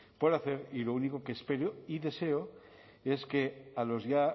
por hacer y lo único que espero y deseo es que a los ya